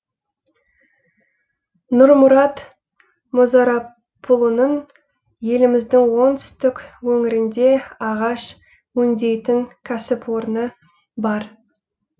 нұрмұрат мұзарапұлының еліміздің оңтүстік өңірінде ағаш өңдейтін кәсіпорны бар